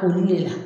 Olu de la